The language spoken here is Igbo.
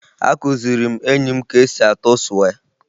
Akụziri m enyi m ka esi atụ sụwé